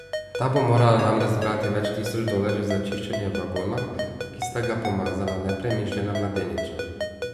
Ta bo morala namreč zbrati več tisoč dolarjev za čiščenje vagona, ki sta ga pomazala nepremišljena mladeniča.